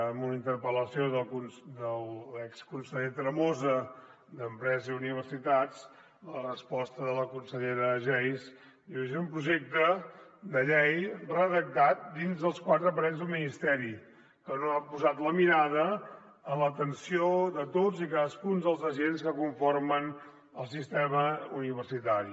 en una interpel·lació de l’exconseller tremosa d’empresa i universitats la resposta de la consellera geis diu és un projecte de llei redactat dins les quatre parets d’un ministeri que no ha posat la mirada en l’atenció de tots i cadascun dels agents que conformen el sistema universitari